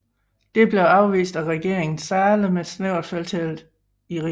Det blev afvist af regeringen Zahle med et snævert flertal i Rigsdagen